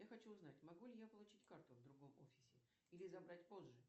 я хочу узнать могу ли я получить карту в другом офисе или забрать позже